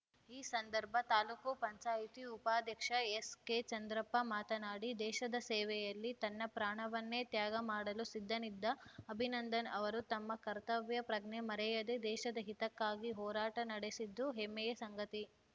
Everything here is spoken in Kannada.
ಈ ಸಂದರ್ಭ ತಾಲೂಕು ಪಂಚಾಯತಿ ಉಪಾಧ್ಯಕ್ಷ ಎಸ್‌ಕೆ ಚಂದ್ರಪ್ಪ ಮಾತನಾಡಿ ದೇಶದ ಸೇವೆಯಲ್ಲಿ ತನ್ನ ಪ್ರಾಣವನ್ನೇ ತ್ಯಾಗ ಮಾಡಲು ಸಿದ್ಧನಿದ್ದ ಅಭಿನಂದನ್‌ ಅವರು ತಮ್ಮ ಕರ್ತವ್ಯ ಪ್ರಜ್ಞೆ ಮರೆಯದೆ ದೇಶದ ಹಿತಕ್ಕಾಗಿ ಹೋರಾಟ ನಡೆಸಿದ್ದು ಹೆಮ್ಮೆಯ ಸಂಗತಿ